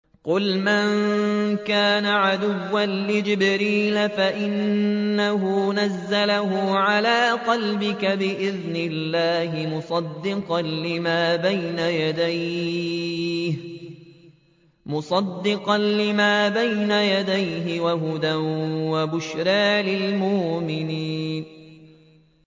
قُلْ مَن كَانَ عَدُوًّا لِّجِبْرِيلَ فَإِنَّهُ نَزَّلَهُ عَلَىٰ قَلْبِكَ بِإِذْنِ اللَّهِ مُصَدِّقًا لِّمَا بَيْنَ يَدَيْهِ وَهُدًى وَبُشْرَىٰ لِلْمُؤْمِنِينَ